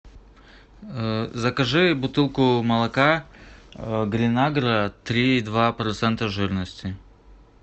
закажи бутылку молока грин агро три и два процента жирности